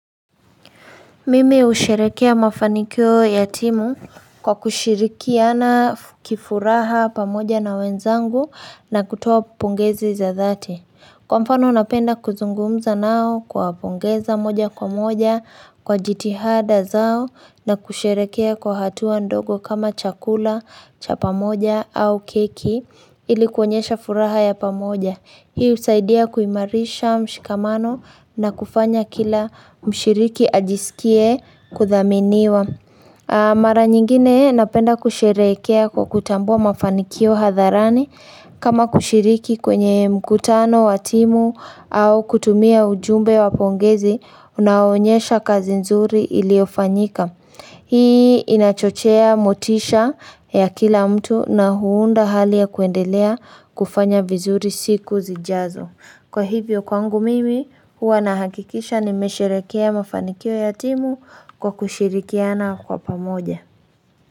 Mimi husherekea mafanikio ya timu kwa kushirikiana kifuraha pamoja na wenzangu na kutoa pongezi za dhati. Kwa mfano napenda kuzungumza nao kuwapongeza moja kwa moja kwa jitihada zao na kusherekea kwa hatua ndogo kama chakula cha pamoja au keki ili kuonyesha furaha ya pamoja. Hii husaidia kuimarisha mshikamano na kufanya kila mshiriki ajisikie kuthaminiwa. Mara nyingine napenda kusherekea kwa kutambua mafanikio hadharani. Kama kushiriki kwenye mkutano, wa timu au kutumia ujumbe wa pongezi, unaoonyesha kazi nzuri iliyofanyika. Hii inachochea motisha ya kila mtu na huunda hali ya kuendelea kufanya vizuri siku zijazo. Kwa hivyo kwangu mimi, huwa nahakikisha nimesherekea mafanikio ya timu kwa kushirikiana kwa pamoja.